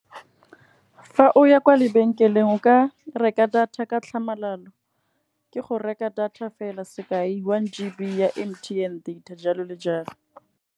Fa o ya kwa lebenkeleng o ka reka data ka tlhamalalo, ke go reka data fela sekai one G_B ya M_T_N data jalo le jalo.